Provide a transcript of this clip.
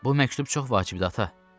Bu məktub çox vacibdir ata.